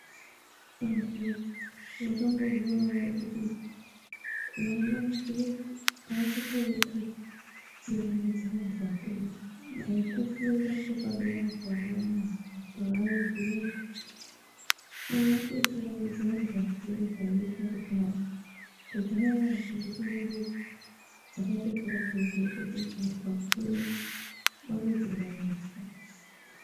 Antuwoye mwakambozviona ere kuti vana vazvinezvi avachakoni kuchingamidza vantu vakuru dai kufunda kwepadera kwayo zvinezvi, aatochingamidzi vantu vakuru zvaiitwa kudhaya , kudhaya ndumure dzakatokure dzeiziye kuti vantu vakuru vanochingamidzwa.